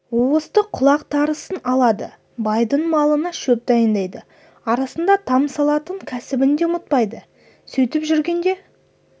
уысты құлақ тарысын алады байдың малына шөп дайындайды арасында там салатын кәсібін де ұмытпайды сөйтіп жүргенде